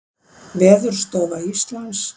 Veðurstofa Íslands.